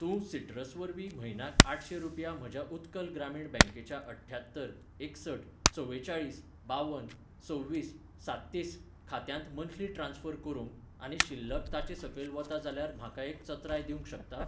तूं सिट्रस वरवीं म्हयन्याक आठशें रुपया म्हज्या उत्कल ग्रामीण बँकेच्या अठ्ठ्यात्तर एकसठ चवेचाळीस बावन सव्वीस साततीस खात्यांत मन्थली ट्रान्स्फर करूंक आनी शिल्लक ताचे सकयल वता जाल्यार म्हाका एक चत्राय दिवंक शकता?